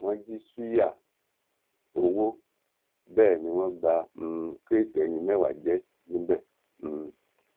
wọn jí ṣùyà owó bẹẹ ni wọn ba um kíróètì eyín mẹwàá jẹ níbẹ um